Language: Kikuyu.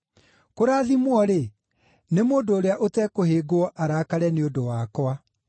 Kũrathimwo-rĩ, nĩ mũndũ ũrĩa ũtekũhĩngwo arakare nĩ ũndũ wakwa.”